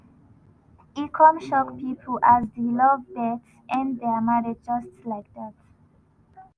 e come shock pipo as di lovebirds end dia marriage just like dat.